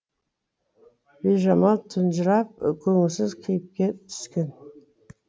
бижамал тұнжырап көңілсіз кейіпке түскен